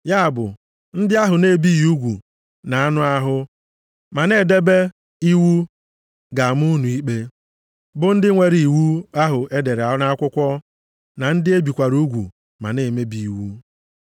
Ya bụ, ndị ahụ a na-ebighị ugwu nʼanụ ahụ ma na-edebe iwu ga-ama unu ikpe, bụ ndị nwere iwu ahụ e dere nʼakwụkwọ na ndị e bikwara ugwu ma na-emebi iwu.